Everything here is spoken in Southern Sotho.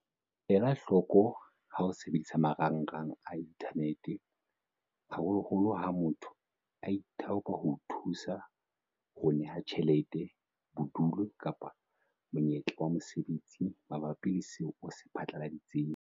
Elahloko ha o sebedisa marangrang a inthanete, haholoholo ha motho a ithaopa ho o thusa, ho o neha tjhelete, bodulo kapa monyetla wa mosebetsi mabapi le seo o se phatlaladitseng.